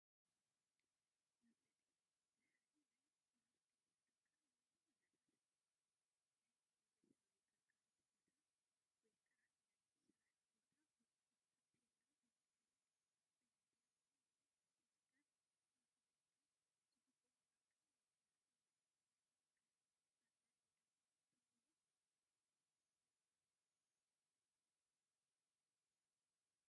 መፋለጢ፡- ንሓደ ናይ ምህርቲ ትካል ወይ ዘርፊ ፣ ናይ መንፈሳዊ ግልጋሎት ቦታ ወይ ከዓ ናይ ስራሕ ቦታ ብፅሑፍ ታፔላ ብምልጣፍ፣ ብሚድያ ከምኡ ውን ብፖስተር ንኽፈልጦ ዝግበኦ ኣካል ምፍላጥ ማለት እዩ፡፡ ንስኻትኩም ከ መፋለጢ ዶ ተንብቡ ?